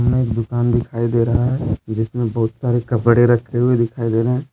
में एक दुकान दिखाई दे रहा है जिसमें बहुत सारे कपड़े रखे हुए दिखाई दे रहे है।